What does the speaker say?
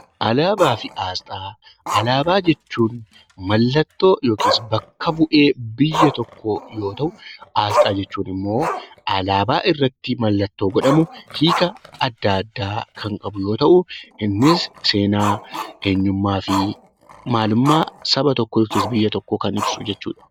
Alaabaa jechuun mallattoo yookaan bakka bu'ee biyya tokkoo yoo ta'u, asxaa jechuun immoo alaabaa irratti mallattoo godhamu hiika adda addaa kan qabu yoo ta'u, innis seenaa, eenyummaa fi maalummaa saba tokkoo yookiis biyya tokkoo kan ibsu jechuudha.